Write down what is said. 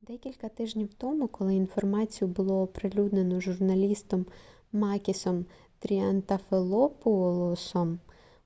декілька тижнів тому коли інформацію було оприлюднено журналістом макісом тріантафилопоулосом